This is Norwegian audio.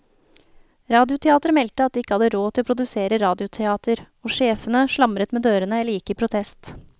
Radioteateret meldte at de ikke hadde råd til å produsere radioteater, og sjefene slamret med dørene eller gikk i protest.